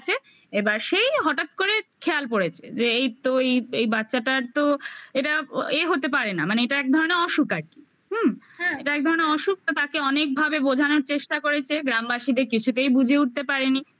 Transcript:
এবার সেই হঠাৎ করে খেয়াল করেছে যে এই তো এই এই বাচ্চাটার তো এটা এ হতে পারে না মানে এটা এক ধরনের অসুখ আর কি হুম হ্যাঁ এটা এক ধরনের অসুখ তাকে অনেক ভাবে বোঝানোর চেষ্টা করেছে গ্রামবাসীদের কিছুতেই বুঝে উঠতে পারেনি